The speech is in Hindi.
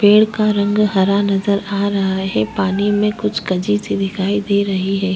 पेड़ का रंग हरा नज़र आ रहा है पानी में कुछ गजी सी दिखाई दे रही है।